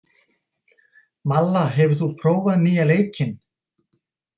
Malla, hefur þú prófað nýja leikinn?